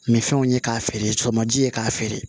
Nin fɛnw ye k'a feere sɔgɔmaji ye k'a feere